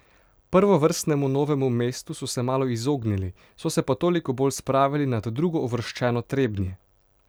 Prvovrstnemu Novemu mestu so se malo izognili, so se pa toliko bolj spravili nad drugouvrščeno Trebnje.